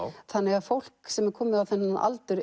þannig að fólk sem er komið á þennan aldur